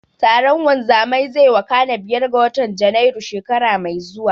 Taron wanzamai zai wakana biyar ga watan Janairu, shekara mai zuwa.